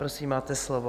Prosím, máte slovo.